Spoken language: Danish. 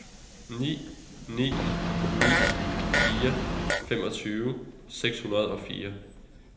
ni ni ni fire femogtyve syv hundrede og fire